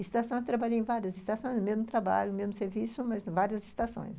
Estação, eu trabalhei em várias estações, mesmo trabalho, mesmo serviço, mas várias estações.